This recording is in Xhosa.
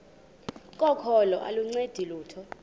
kokholo aluncedi lutho